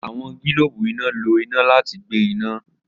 Awọn gilobu ina lo ina lati gbe ina.